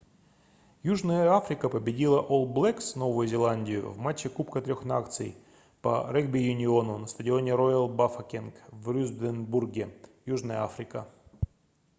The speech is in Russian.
южная африка победила олл блэкс новую зеландию в матче кубка трех наций по регби-юниону на стадионе роял бафокенг в рюстенбурге южная африка